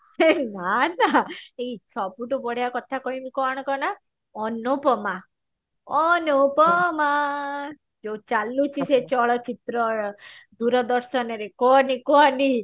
ହେଇ ମାର ନା ଏଇ ସବୁଠୁ ବଢିଆ କଥା କହିବୁ କଣ କନା ଅନୁପମା ଅନୁପମା ଯୋଉ ଚଳୁଛି ସେଇ ଚଳଚିତ୍ରର ଦୂରଦର୍ଶନର କୁହନି କୁହନି